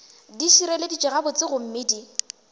di šireleditšwe gabotse gomme di